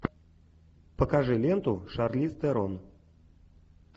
покажи ленту шарлиз терон